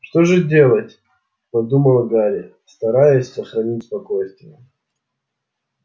что же делать подумал гарри стараясь сохранить спокойствие